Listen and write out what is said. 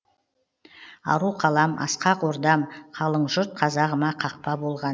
ару қалам асқақ ордам қалың жұрт қазағыма қақпа болған